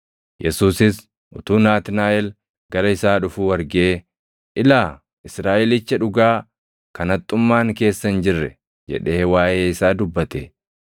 Yesuusis utuu Naatnaaʼel gara isaa dhufuu argee, “Ilaa Israaʼelicha dhugaa kan haxxummaan keessa hin jirre!” jedhee waaʼee isaa dubbate.